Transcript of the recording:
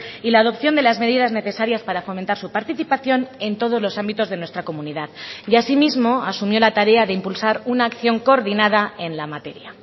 y la adopción de las medidas necesarias para fomentar su participación en todos los ámbitos de nuestra comunidad y asimismo asumió la tarea de impulsar una acción coordinada en la materia